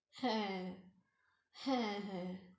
হ্যাঁ হ্যাঁ, হ্যাঁ